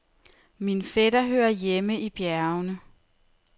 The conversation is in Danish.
Min fætter hører hjemme i bjergene.